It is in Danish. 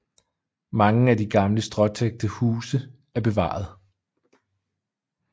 Mange af gamle stråtækte huse er bevaret